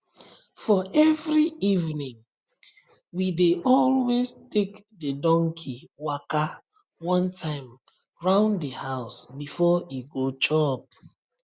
for every eveningwe dey always take the donkey waka one time round the house before e go chop